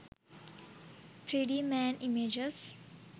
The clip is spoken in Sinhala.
3d man images